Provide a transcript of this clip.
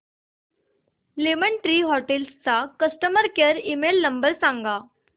lemon Tree Hotels चा customer care email number सांगा